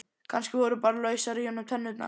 Kannski voru bara lausar í honum tennurnar.